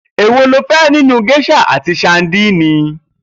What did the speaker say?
Èwo lo fé̩ nínú gés̩à àti sadíìnì?